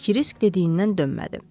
Kirisk dediyindən dönmədi.